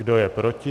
Kdo je proti?